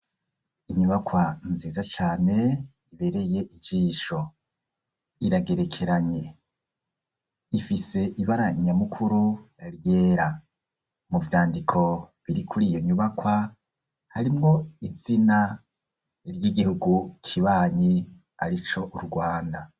Inyubakwa nziza cane ibereye ijisho iragerekeranye ifise ibara nyamukuru ryera mu vyandiko biri kuri iyo nyubakwa harimwo izina ry'igihugu kibanyi arico u Rwanda.